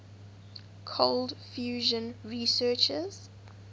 cold fusion researchers